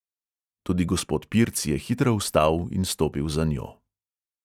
Tudi gospod pirc je hitro vstal in stopil za njo.